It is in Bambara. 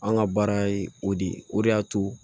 An ka baara ye o de ye o de y'a to